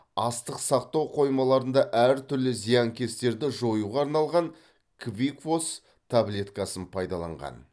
астық сақтау қоймаларында әртүрлі зиянкестерді жоюға арналған квикфос таблеткасын пайдаланған